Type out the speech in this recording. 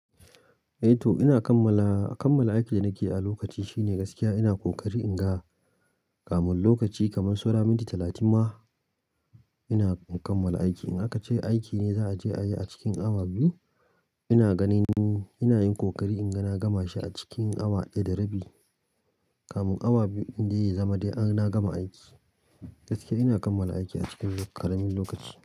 Eh to ina kammala, a kammala aikin da nake yi a lokaci shine gaskiya ina kokari in ga kamun lokaci kaman saura minti talatin ma ina in kammala aiki. In aka ce aiki ne za a je a yi a cikin awa biyu, ina ganin ina yin kokari in ga na gama shi a cikin awa ɗaya da rabi kamun awa biyu inda ya zama dai ana gama aiki. Gaskiya ina kammala aiki a cikin ƙaramin lokaci.